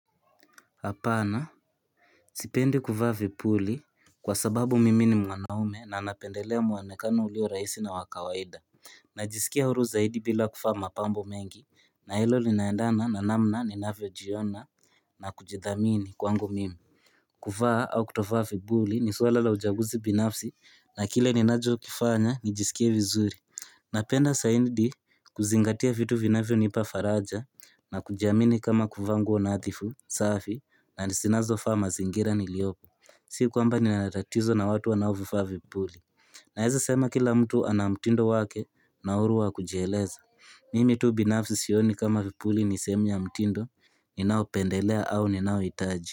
Apana Sipendi kuvaa vipuli kwa sababu mimi ni mwanaume na napendelea muonekano ulio rahisi na wa kawaida Najisikia huru zaidi bila kuvaa mapambo mengi na hilo linaendana na namna ninavyojiona na kujidhamini kwangu mimi kuvaa au kutovaa vipuli ni swala la uchaguzi binafsi na kile ninachokifanya nijisikie vizuri Napenda zaidi kuzingatia vitu vinavyo nipa faraja na kujiamini kama kuvaa nguo nadhifu, safi, na ni zinazofaa mazingira niliopo Si kwamba nina tatizo na watu wanaovivaa vipuli Naeza sema kila mtu ana mtindo wake na huru wa kujieleza Mimi tu binafsi sioni kama vipuli ni sehemu ya mtindo, ninao pendelea au ninaohitaji.